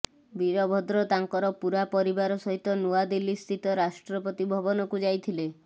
ବୀରଭଦ୍ର ତାଙ୍କର ପୂରା ପରିବାର ସହିତ ନୂଆଦିଲ୍ଲୀସ୍ଥିତ ରାଷ୍ଟ୍ରପତି ଭବନକୁ ଯାଇଥିଲେ